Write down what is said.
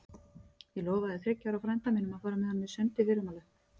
Ég lofaði þriggja ára frænda mínum að fara með honum í sund í fyrramálið.